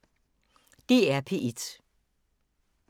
DR P1